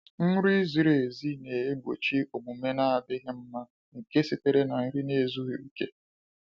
Nri ziri ezi na-egbochi omume n'adịghị mma nke sitere na nri ezughi oke.